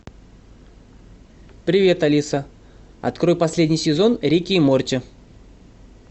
привет алиса открой последний сезон рика и морти